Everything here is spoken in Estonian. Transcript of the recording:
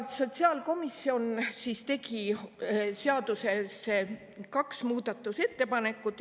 Sotsiaalkomisjon tegi kaks muudatusettepanekut.